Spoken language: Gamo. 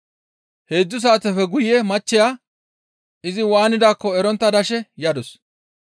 Heedzdzu saateppe guye machcheya izi waanidaakko erontta dashe yadus.